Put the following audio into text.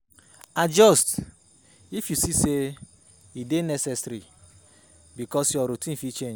Adjust if you see sey e dey necessary because your routine fit change